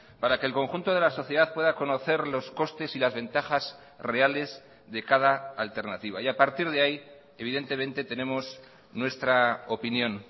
para que el conjunto de la sociedad pueda conocer los costes y las ventajas reales de cada alternativa y a partir de ahí evidentemente tenemos nuestra opinión